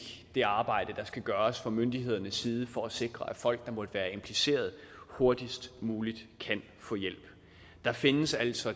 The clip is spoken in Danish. det arbejde der skal gøres fra myndighedernes side for at sikre at folk der måtte være impliceret hurtigst muligt kan få hjælp der findes altså